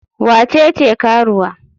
Wa ce ce karuwa?